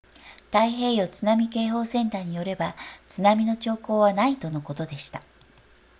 太平洋津波警報センターによれば津波の兆候はないとのことでした